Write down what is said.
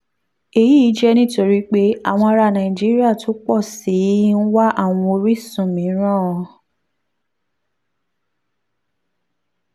èyí jẹ́ nítorí pé àwọn ará nàìjíríà tó pọ̀ sí i ń wá àwọn orísun mìíràn